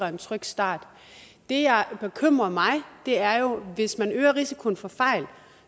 en tryg start det der bekymrer mig er jo at hvis man øger risikoen for fejl